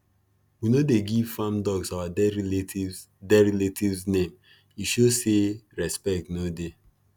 we no dey give farm dogs our dead relatives dead relatives name e show say respect no dey